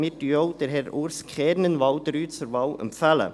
Wir empfehlen auch Herrn Urs Kernen bei Wahl 3 zur Wahl.